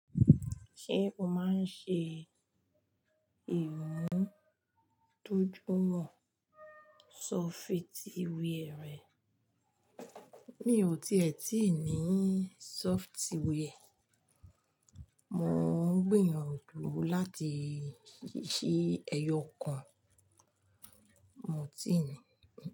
Ṣé o máa ń ṣe ìmúdójùiwọn software rẹ? Mi ò tí è tíì ní software. Mo ń gbìyànjú láti ṣí ẹyọ kan. Mo ti ni.